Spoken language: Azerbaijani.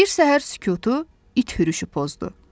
Bir səhər sükutu it hürüşü pozdu.